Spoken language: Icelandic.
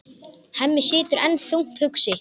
Hemmi situr enn þungt hugsi.